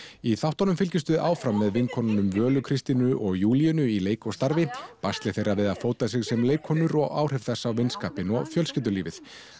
í þáttunum fylgjumst við áfram með vinkonunum Völu Kristínu og Júlíönu í leik og starfi basli þeirra við að fóta sig sem leikkonur og áhrif þess á vinskapinn og fjölskyldulífið